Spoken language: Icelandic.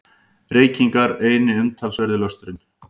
Reykingar eini umtalsverði lösturinn.